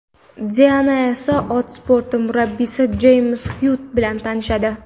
Diana esa ot sporti murabbiysi Jeyms Xyuitt bilan tanishadi.